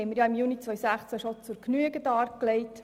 Diese wurde ja im Juni 2016 bereits zur Genüge dargelegt.